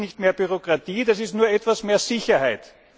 Das ist nicht mehr Bürokratie, das ist nur etwas mehr Sicherheit.